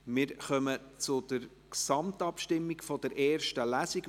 Wir kommen zur Gesamtabstimmung über die erste Lesung.